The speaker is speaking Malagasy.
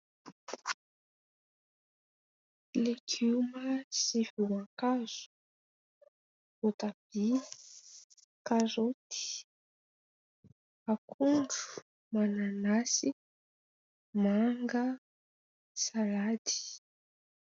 Legioma sy voankazo, voatabia, karaoty, akondro, mananasy, manga, salady.